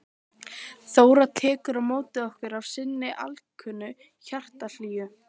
Hún er að ryðja burtu moldarhaugum og stóru grjóti.